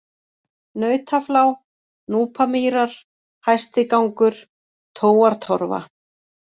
Nautaflá, Núpamýrar, Hæstigangur, Tóartorfa